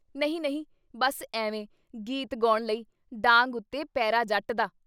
ਨਹੀਂ ਨਹੀਂ! ਬੱਸ ਐਵੇਂ ਗੀਤ ਗੌਣ ਲਈ, ਡਾਂਗ ਉੱਤੇ ਪਹਿਰਾ ਜੱਟ ਦਾ।